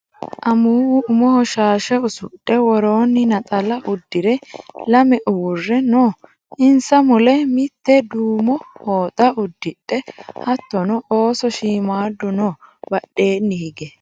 Amuwu umoho shaashe usudhe worooni naxala uddire lame uurre noo insa mule mite duumo foxa uddidhe hattono ooso shiimadu no badheenni higge.